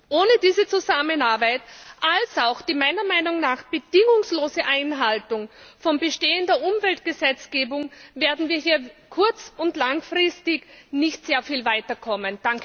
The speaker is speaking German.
Ohne diese Zusammenarbeit als auch die meiner Meinung nach bedingungslose Einhaltung von bestehender Umweltgesetzgebung werden wir hier kurz und langfristig nicht sehr viel weiterkommen!